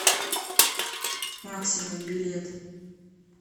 максимум билет